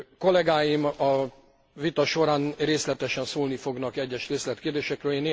Kollegáim a vita során részletesen szólni fognak egyes részletkérdésekről.